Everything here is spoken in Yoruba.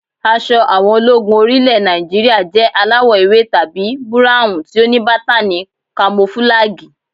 Aṣọ àwọn ológun orí ilẹ̀ Nàìjíríà jẹ́ aláwọ̀ ewé tàbí búráhùn tí ó ní bátàni kamofúlàgì